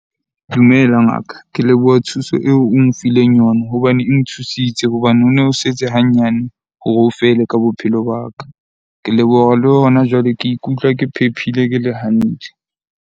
Dumela ngaka. Ke leboha thuso eo o nfileng yona hobane e nthusitse hobane ho no setse hanyane hore ho fele ka bophelo ba ka. Ke leboha le hona jwale, ke ikutlwa ke phephile ke le hantle.